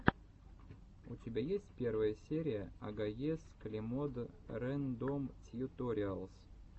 у тебя есть первая серия агоез клемод рэндом тьюториалс